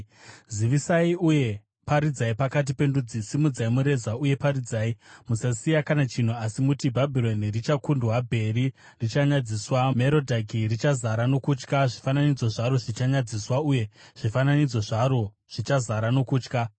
“Zivisai, uye paridzai pakati pendudzi, simudzai mureza uye paridzai; musasiya kana chinhu, asi muti, ‘Bhabhironi richakundwa; Bheri richanyadziswa, Merodhaki richazara nokutya. Zvifananidzo zvaro zvichanyadziswa uye zvifananidzo zvaro zvichazara nokutya.’